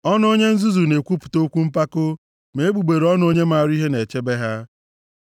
Ọnụ onye nzuzu na-ekwupụta okwu mpako, ma egbugbere ọnụ onye maara ihe na-echebe ha.